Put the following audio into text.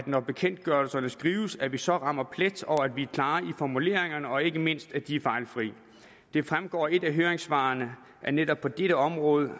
når bekendtgørelserne skrives at vi så rammer plet og at vi er klare i formuleringerne og ikke mindst at de er fejlfri det fremgår af et af høringssvarene at netop på dette område